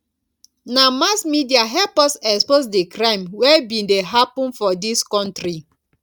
na mass media help us expose di crime wey bin dey happen for dis country